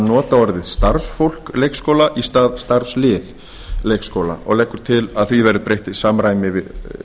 nota orðið starfsfólk leikskóla í stað starfslið leikskóla og leggur til að því verði breytt